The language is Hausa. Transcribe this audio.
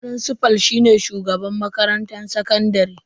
Frincifal shine shugaban makarantar sakandare.